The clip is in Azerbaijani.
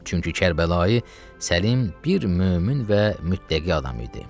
Çünki Kərbəlayi Səlim bir mömin və müttəqi adam idi.